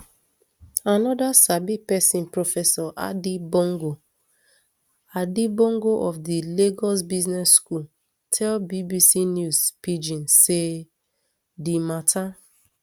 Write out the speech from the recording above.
anoda sabi pesin professor adi bongo adi bongo of di lagos business school tell bbc news pidgin say di mata